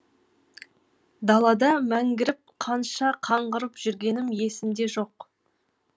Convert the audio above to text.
далада мәңгіріп қанша қаңғырып жүргенім есімде жоқ